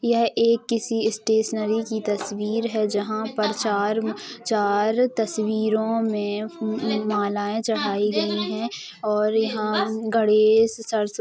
यह एक किसी स्टेशनरी की तस्वीर है जहाँ पर चार चार तस्वीरों में मालाएँ चढ़ाई गई हैं और यहाँ गणेशसरस्वती --